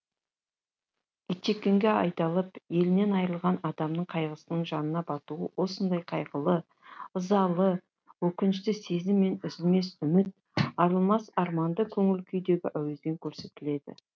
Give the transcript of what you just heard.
итжеккенге айдалып елінен айырылған адамның қайғысының жанына батуы осындай қайғылы ызалы өкінішті сезім мен үзілмес үміт арылмас арманды көңіл күйдегі әуезбен көрсетіледі